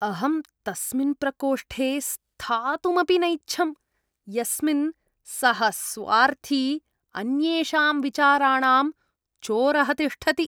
अहं तस्मिन् प्रकोष्ठे स्थातुमपि नैच्छं यस्मिन् सः स्वार्थी, अन्येषां विचाराणां चोरः तिष्ठति।